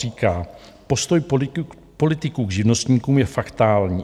Říká: "Postoj politiků k živnostníkům je fatální.